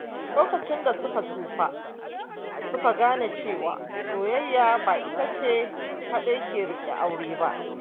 Lokacin da suka tsufa, su ka gane cewa soyayya ba ita ce kaɗai ke riƙe aure ba.